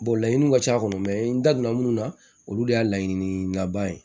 laɲiniw ka c'a kɔnɔ mɛ n da donna mun na olu de y'a laɲini naba ye